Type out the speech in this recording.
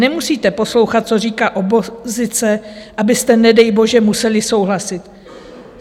Nemusíte poslouchat, co říká opozice, abyste nedej bože museli souhlasit.